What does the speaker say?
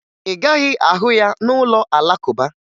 Ị gaghị ahụ ya n'ụlọ Alakụba